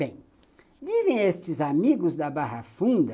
Bem, dizem estes amigos da Barra Funda